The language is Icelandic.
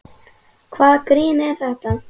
Hvaða grín er það?